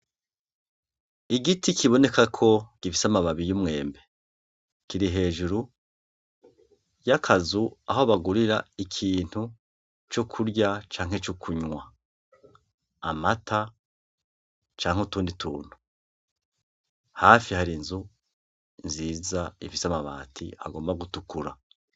Igiti kibonekako gifis’amababi y’umwembe. Kiri hejuru ,y’akazu aho bagurira ikintu co kurya canke co kunwa. Amata, cank’utundi tuntu. Hafi har’inzu nziza ifis’amabati agomba gutukura.